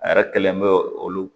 A yɛrɛ kelen bɛ olu